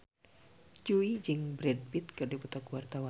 Jui jeung Brad Pitt keur dipoto ku wartawan